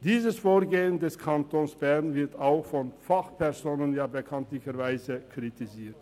Dieses Vorgehen des Kantons Bern wird bekanntlich auch von Fachpersonen kritisiert.